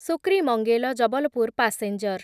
ସୁକ୍ରିମଙ୍ଗେଲ Jabalpur passenger